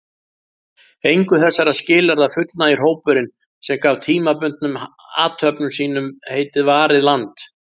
Engu þessara skilyrða fullnægir hópurinn, sem gaf tímabundnum athöfnum sínum heitið Varið land.